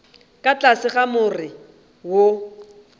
ka tlase ga more wo